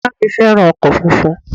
Ìyá à mí fẹ́ràn ọkọ̀ funfun